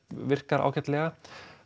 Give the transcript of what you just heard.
virkar ágætlega